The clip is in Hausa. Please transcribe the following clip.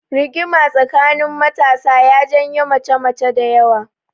Rigima tsakanin matasa ya janyo mace mace dayawa